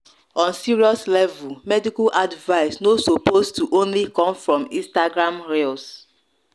on serious level medical advice no suppose to only come from instagram reels